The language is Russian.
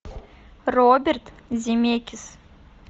роберт земекис